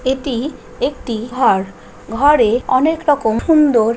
এটি একটি ঘর ঘরে অনেক রকম সুন্দর--